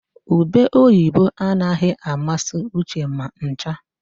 Ube oyibo anaghị amasị Uche ma ncha.